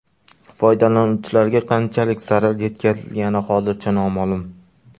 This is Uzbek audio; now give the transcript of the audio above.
Foydalanuvchilarga qanchalik zarar yetkazilgani hozircha noma’lum.